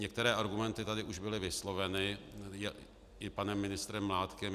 Některé argumenty tady už byly vysloveny i panem ministrem Mládkem.